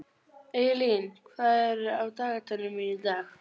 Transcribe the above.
Eylín, hvað er á dagatalinu mínu í dag?